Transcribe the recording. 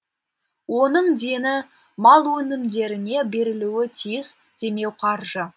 оның дені мал өнімдеріне берілуі тиіс демеуқаржы